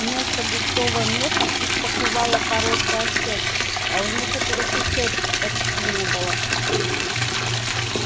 вместо густого меха их покрывала короткая шерсть а у некоторых и шерсти почти не было